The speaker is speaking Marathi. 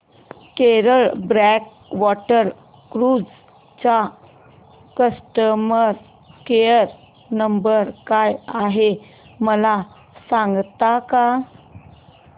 केरळ बॅकवॉटर क्रुझ चा कस्टमर केयर नंबर काय आहे मला सांगता का